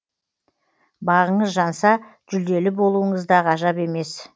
бағыңыз жанса жүлделі болуыңыз да ғажап емес